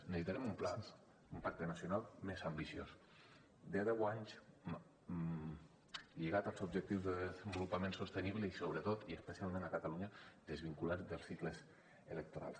necessitarem un pla un pacte nacional més ambiciós de deu anys lligat als objectius de desenvolupament sostenible i sobretot i especialment a catalunya desvinculat dels cicles electorals